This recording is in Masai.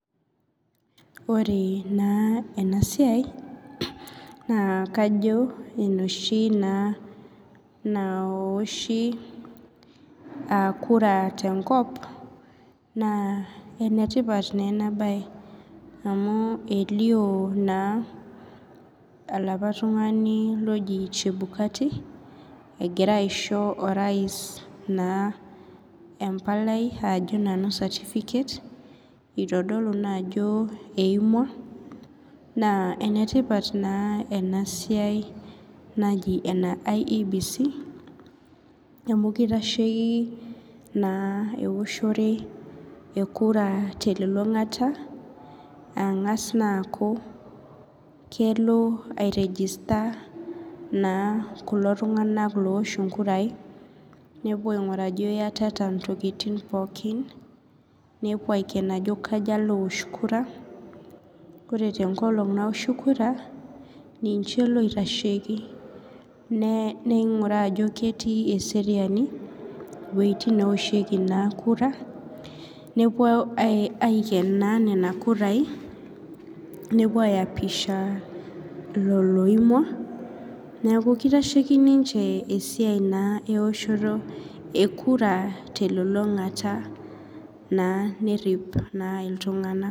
Ore na enasiai na kajo na enoshi na naoshi kura tenkop na enetipat na enabae amu elio olaapa tumganu oji chebukati egira aisho orais embalai ajo nanu certificate itodolu naajo eimua na enetipat na enasiai naji ene iebc amu kitashieki eoshore ekura telulungata angasa aaku kelo ai register kulo tunganak oosh nkurai nepuo aingiraa ajo iyatata ntokitin pookin nepuo ayiolou ajo kaja lowosh kura ore tenkolong naoshi kura nincheboitasheki ninguraa ajo ketii eseriani wuetin naoshieki kura nepuo aiken nona pishai nepuo aiapisha ilo oimua neaku kitasheki ninye esiai eoshoto ekura telulungata na nerip ma ltunganak.